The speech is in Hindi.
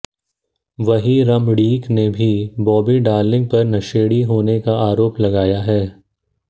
वहीं रमणीक ने भी बॉबी डार्लिंग पर नशेड़ी होने का आरोप लगाया है